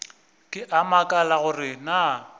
ke a makala gore na